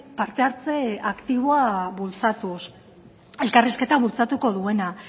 parte hartze aktiboa bultzatuz elkarrizketa bultzatuko duena